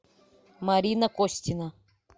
марина костина